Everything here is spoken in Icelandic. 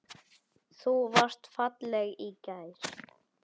Þú varst falleg í gær.